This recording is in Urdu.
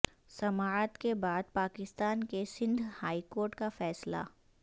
سماعت کے بعدپاکستان کے سندھ ہائیکورٹ کا فیصلہ